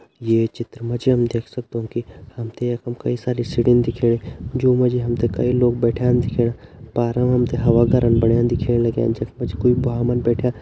ये चित्र मा जी हम देख सगदौं कि हमतें यखम कई सारी सीढ़िन दिखेणी ज्युं मा जी हमतें कई लोग बैठ्यां दिखेणा पारम हमतें बणा दिखेण लग्यां जख मा जी कोई भ्वांमन बैठ्यां।